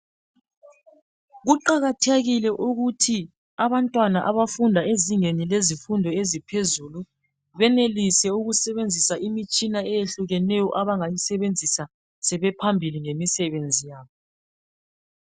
Kuqakathekile ukuthi abantwana abafunda ezingeni lezifundo eziphezulu benelise ukusebenzisa imitshina eyehlukeneyo abangayi sebenzisa sebephambili ngemisebenzi yabo.